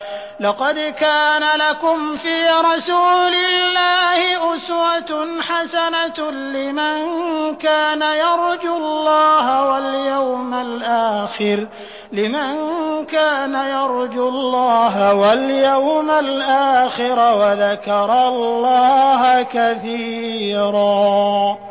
لَّقَدْ كَانَ لَكُمْ فِي رَسُولِ اللَّهِ أُسْوَةٌ حَسَنَةٌ لِّمَن كَانَ يَرْجُو اللَّهَ وَالْيَوْمَ الْآخِرَ وَذَكَرَ اللَّهَ كَثِيرًا